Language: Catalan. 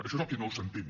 això és el que no s’entén